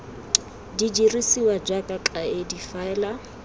di dirisiwa jaaka kaedi fela